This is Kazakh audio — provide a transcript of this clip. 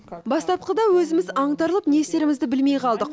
бастапқыда өзіміз аңтарылып не істерімізді білмей қалдық